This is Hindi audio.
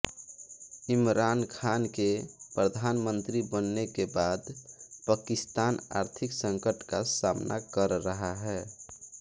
इमरान खान के प्रधानमंत्री बनने के बाद पाकिस्तान आर्थिक संकट का सामना कर रहा है